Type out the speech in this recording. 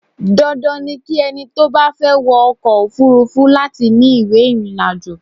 Dandan ni ki ẹni tó bá fẹ́ wọ ọkọ òfúrúfú láti ní ìwé ìrìnàjò.